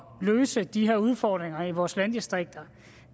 løse de her udfordringer i vores landdistrikter